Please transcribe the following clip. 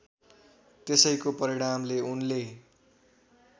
त्यसैको परिणामले उनले